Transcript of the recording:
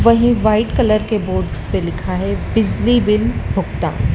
वहीं white colour के board पे लिखा है बिजली बिल भुगता--